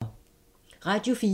Radio 4